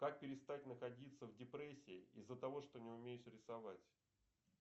как перестать находится в депрессии из за того что не умеешь рисовать